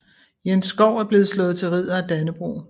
Jens Schou er blevet slået til Ridder af Dannebrog